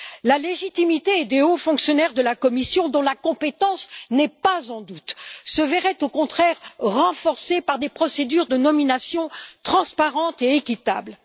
La légitimité des hauts fonctionnaires de la Commission, dont la compétence n'est pas en doute, se verrait au contraire renforcée par des procédures de nomination transparentes et équitables.